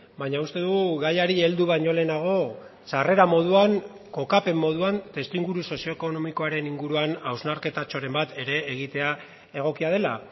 baina uste dugu gaiari heldu baino lehenago sarrera moduan kokapen moduan testuinguru sozioekonomikoaren inguruan hausnarketatxoren bat ere egitea egokia dela